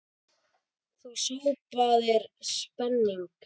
Þú sópaðir pening.